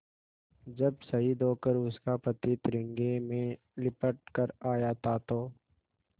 जब शहीद होकर उसका पति तिरंगे में लिपट कर आया था तो